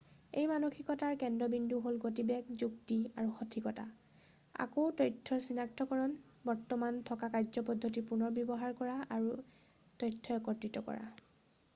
এই মানসিকতাৰ কেন্দ্ৰবিন্দু হ'ল গতিবেগ যুক্তি আৰু সঠিকতা আকৌ তথ্যৰ চিনাক্তকৰণ বৰ্তমান থকা কাৰ্যপদ্ধতিৰ পুনৰব্যৱহাৰ কৰা আৰু তথ্য একত্ৰিত কৰা